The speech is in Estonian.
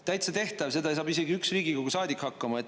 Täitsa tehtav, seda saab isegi üks Riigikogu saadik hakkama.